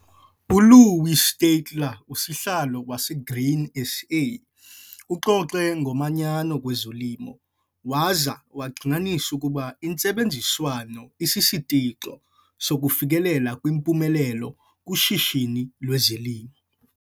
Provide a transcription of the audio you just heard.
ULouw Steytler, uSihlalo waseGrain SA, uxoxe ngomanyano kwezolimo waza wagxininisa ukuba intsebenziswano isisitixo sokufikelela kwimpumelelo kushishino lwezolimo.